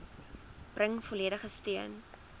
bring volledige steun